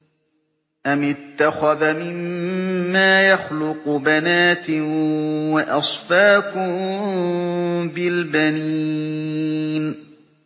أَمِ اتَّخَذَ مِمَّا يَخْلُقُ بَنَاتٍ وَأَصْفَاكُم بِالْبَنِينَ